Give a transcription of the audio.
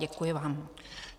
Děkuji vám.